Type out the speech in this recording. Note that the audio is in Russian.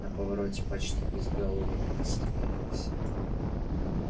на повороте почти безголовый ник остановился и гарри прошёл сквозь него